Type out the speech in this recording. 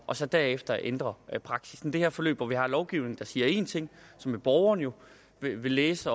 og så derefter ændre praksis det her forløb hvor vi har lovgivningen der siger en ting som borgerne jo vil vil læse